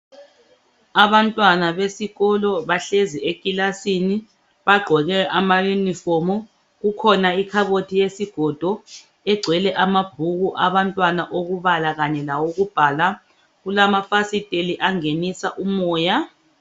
Abantwana besikolo bahlezi ekilasini, baqoke ama yunifomu kukhona ikhabothi yesigodo egcwele amabhuku abantwana okubala kanye lawokubhala kulamafasiteli angenisa umoya,